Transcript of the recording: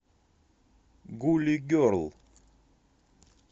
гули герл